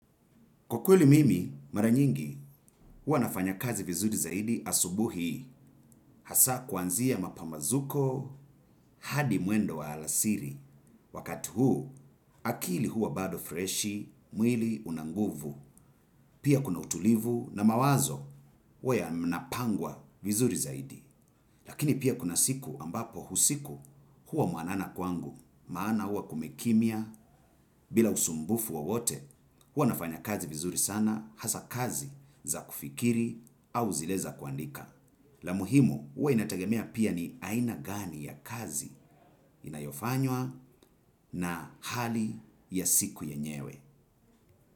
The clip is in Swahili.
Kwa kweli mimi, mara nyingi, huwa nafanya kazi vizuri zaidi asubuhi, hasa kuanzia mapamazuko hadi mwendo wa alasiri. Wakati huu, akili huwa bado freshi, mwili una nguvu, pia kuna utulivu na mawazo huwa yanapangwa vizuri zaidi. Lakini pia kuna siku ambapo usiku huwa mwanana kwangu, maana huwa kumekimya bila usumbufu wowote. Huwa nafanya kazi vizuri sana, hasa kazi za kufikiri au zile za kuandika. La muhimu, huwa inategemea pia ni aina gani ya kazi inayofanywa na hali ya siku yenyewe.